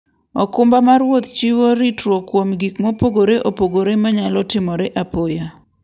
okumba mar wuoth chiwo ritruok kuom gik mopogore opogore manyalo timore apoya.